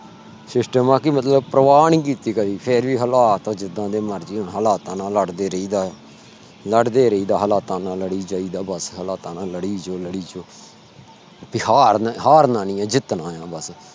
system ਆ ਕਿ ਮਤਲਬ ਪਰਵਾਹ ਨੀ ਕੀਤੀ। ਕਦੀ ਫਿਰ ਵੀ ਹਾਲਾਤ ਜਿਦਾਂ ਮਰਜੀ ਹੋਣ ਹਾਲਾਤਾਂ ਨਾਲ ਲੜਦੇ ਰਹੀ ਦਾ ਆ ਲੜਦੇ ਰਹੀ ਦਾ ਆ ਹਾਲਾਤਾਂ ਨਾਲ ਲੜੀ ਜਾਇ ਦਾ ਆ ਬਸ ਹਾਲਾਤਾਂ ਨਾ ਲੜੀ ਜਾਇ ਦਾ ਆ ਵੀ ਹਾਰ ਹਾਰਨਾ ਨਹੀਂ ਆ ਜਿਤਨਾ ਆ ਬਸ